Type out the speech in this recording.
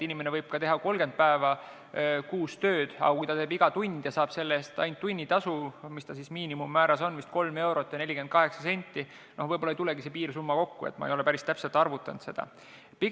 Inimene võib teha kas või 30 päeva kuus tööd, aga kui ta saab selle eest ainult tunnitasu – mis see miinimummäär on, vist 3 eurot ja 48 senti –, siis võib-olla ei tulegi piirsumma kokku, ehkki ma ei ole seda päris täpselt kokku arvutanud.